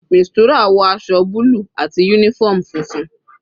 Mistura wọ aṣọ búlù àti uniform funfun.